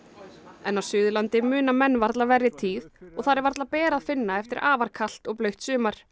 en á Suðurlandi muna menn varla verri tíð þar er varla ber að finna eftir afar kalt og blautt sumar